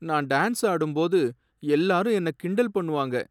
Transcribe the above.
நான் டான்ஸ் ஆடும்போது எல்லாரும் என்ன கிண்டல் பண்ணுவாங்க.